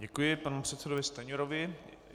Děkuji panu předsedovi Stanjurovi.